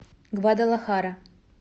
гвадалахара